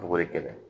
Bɔgɔ de kɛlɛ